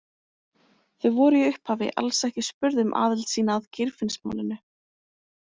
Þau voru í upphafi alls ekki spurð um aðild sína að Geirfinnsmálinu.